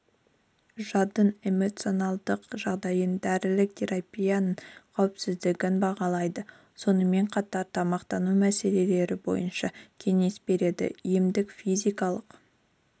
жадын эмоциналдық жағдайын дәрілік терапияның қауіпсіздігін бағалайды сонымен қатар тамақтану мәселелері бойынша кеңес береді емдік-физикалық